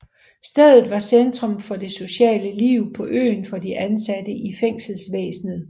Stedet var centrum for det sociale liv på øen for de ansatte i fængselsvæsenet